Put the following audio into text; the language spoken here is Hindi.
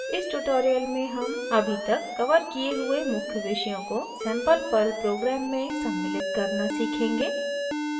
इस ट्यूटोरियल में हम अभी तक कवर किये हुए मुख्य विषयों को सैंपल पर्ल प्रोग्राम में सम्मिलित करना सीखेंगे